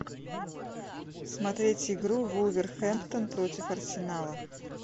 смотреть игру вулверхэмптон против арсенала